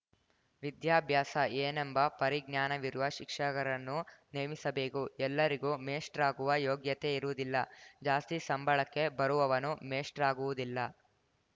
ವಿದ್ಯಾಭ್ಯಾಸ ಏನೆಂಬ ಪರಿಜ್ಞಾನವಿರುವ ಶಿಕ್ಷಕರನ್ನು ನೇಮಿಸಬೇಕು ಎಲ್ಲರಿಗೂ ಮೇಷ್ಟ್ರಾಗುವ ಯೋಗ್ಯತೆ ಇರುವುದಿಲ್ಲ ಜಾಸ್ತಿ ಸಂಬಳಕ್ಕೆ ಬರುವವನು ಮೇಷ್ಟ್ರಾಗುವುದಿಲ್ಲ